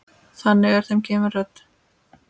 Þannig er þeim gefin rödd.